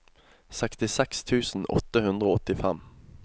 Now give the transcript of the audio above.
sekstiseks tusen åtte hundre og åttifem